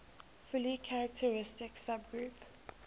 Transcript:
fully characteristic subgroup